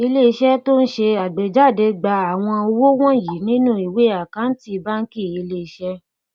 ilé iṣẹ tó n ṣe àgbéjáde gba àwọn owó wọnyí nínú ìwé àkántì bánkì ilé iṣé